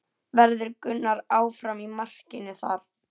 Verður Gunnar áfram í markinu þar?